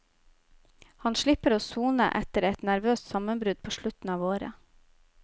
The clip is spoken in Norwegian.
Han slipper å sone etter et nervøst sammenbrudd på slutten av året.